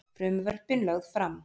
Frumvörpin lögð fram